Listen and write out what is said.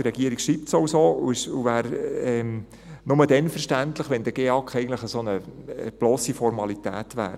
Die Regierung schreibt es auch so, und es wäre nur dann verständlich, wenn der GEAK eigentlich eine blosse Formalität wäre.